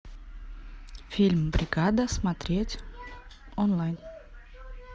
фильм бригада смотреть онлайн